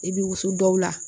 I bɛ wusu dɔw la